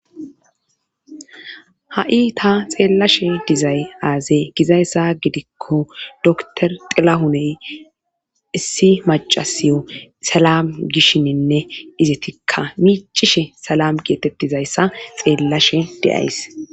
ha7i ta xeellashe dizay aze gizayssa gidikko doktor xilahuney issi macasiyo salam gishshininne izetikka miicishe salam geetettizayssa xeellashe de7ays